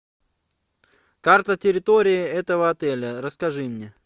карта территории этого отеля расскажи мне